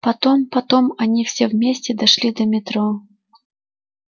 потом потом они все вместе дошли до метро